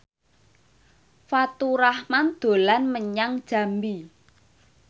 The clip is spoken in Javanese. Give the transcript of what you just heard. Faturrahman dolan menyang Jambi